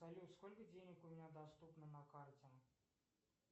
салют сколько денег у меня доступно на карте